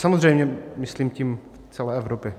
Samozřejmě myslím tím celé Evropy.